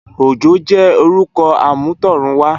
Ojo jè órùkò àmútọ̀runwá